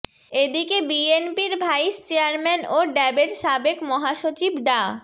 এদিকে বিএনপির vice chairman ও ড্যাবের সাবেক মহাসচিব ডা